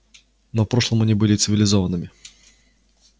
но в прошлом они были цивилизованными